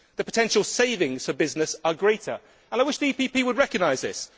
The potential savings to business are greater, and I wish the EPP would recognise this.